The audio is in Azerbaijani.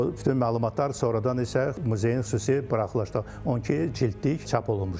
O bütün məlumatlar sonradan isə muzeyin xüsusi buraxılışda 12 cildlik çap olunmuşdu.